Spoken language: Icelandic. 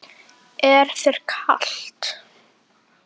Er þér kalt?